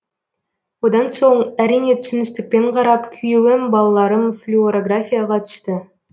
одан соң әрине түсіністікпен қарап күйеуім балаларым флюорографияға түсті